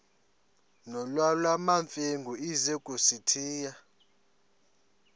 nolwamamfengu ize kusitiya